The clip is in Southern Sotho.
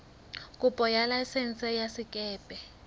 kopo ya laesense ya sekepe